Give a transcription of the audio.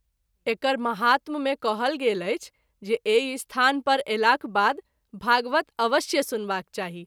एकर महात्म मे कहल गेल अछि जे एहि स्थान पर अयलाक बाद भागवत अवश्य सुनवाक चाही।